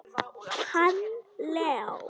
Hann Leó?